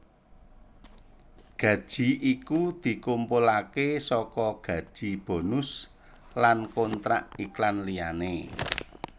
Gaji iku dikumpulake saka gaji bonus lan kontrak iklan liyane